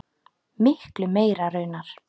Miklu meira raunar.